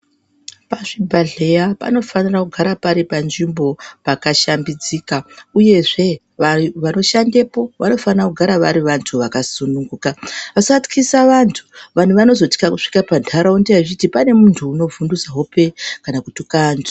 Pazvibhehleya panofanira kugara pari panzvimbo pakashambidzika uyezve vanoshandepo vanofanire kunge vari vantu vakasunununguke hope, vasatyisa vantu, vantu vanozotya vachiti pane munhu unovhudhutse hope kana kutuka anhu.